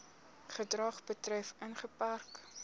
gedrag betref ingeperk